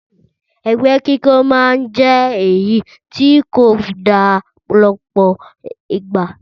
Ẹgbẹ́ kíkó máa ń jẹ́ èyí tí kò da lọ́pọ̀ ìgbà